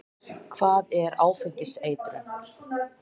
Hvað er áfengiseitrun?